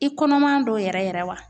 I kɔnɔman don yɛrɛ yɛrɛ wa?